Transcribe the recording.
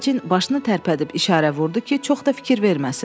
Fecin başını tərpədib işarə vurdu ki, çox da fikir verməsin.